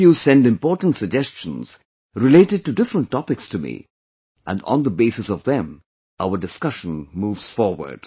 All of you send important suggestions related to different topics to me, and on the basis of them our discussion moves forward